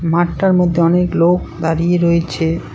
মাঠটার মধ্যে অনেক লোক দাঁড়িয়ে রয়েছে।